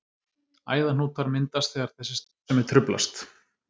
Æðahnútar myndast þegar þessi starfsemi truflast.